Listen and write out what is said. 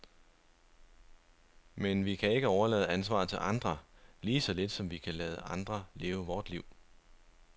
Men vi kan ikke overlade ansvaret til andre, lige så lidt som vi kan lade andre leve vort liv.